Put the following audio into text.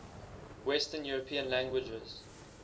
western european languages